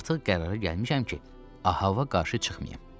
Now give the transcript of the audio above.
Artıq qərara gəlmişəm ki, Ababa qarşı çıxmayım.